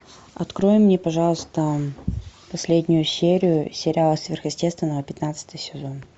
открой мне пожалуйста последнюю серию сериала сверхъестественное пятнадцатый сезон